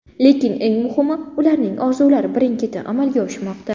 Lekin eng muhimi, uning orzulari birin-ketin amalga oshmoqda.